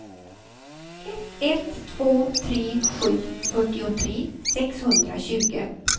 ett två tre sju fyrtiotre sexhundratjugo